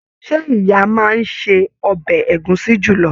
Ṣe ìyá máa n se ọbẹ ẹ̀gúsí julọ?